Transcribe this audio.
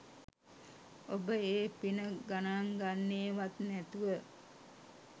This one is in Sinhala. ඔබ ඒ පින ගණන් ගන්නේවත් නැතුව